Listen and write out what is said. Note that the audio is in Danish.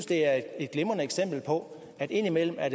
det er et glimrende eksempel på at indimellem er